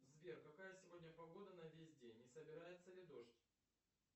сбер какая сегодня погода на весь день и собирается ли дождь